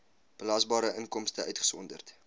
belasbare inkomste uitgesonderd